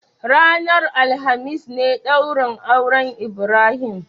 Ranar alhamis ne daurin auren Ibrahim?